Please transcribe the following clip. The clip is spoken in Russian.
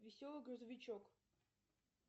веселый грузовичок